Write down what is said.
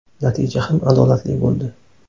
Natija ham adolatli bo‘ldi.